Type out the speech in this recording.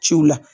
Ciw la